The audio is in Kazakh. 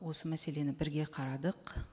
осы мәселені бірге қарадық